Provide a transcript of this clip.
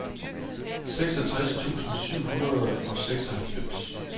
seksogtres tusind syv hundrede og seksoghalvfems